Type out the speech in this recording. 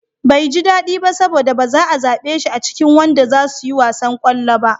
Bai ji daɗi ba saboda ba'a zaɓe shi a cikin wanda zasu yi wasan ƙwallo ba.